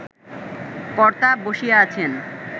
কর্তা বসিয়া আছেন